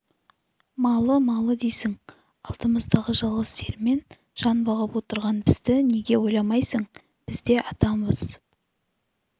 малы-малы дейсің алдымыздағы жалғыз сиырмен жан бағып отырған бізді неге ойламайсың бз де адамымыз